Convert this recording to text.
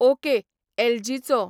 okay एलजीचो